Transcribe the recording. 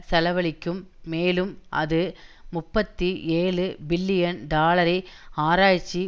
செலவழிக்கும் மேலும் அது முப்பத்தி ஏழு பில்லியன் டாலரை ஆராய்ச்சி